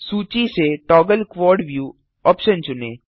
सूची से toggle quad view option चुनें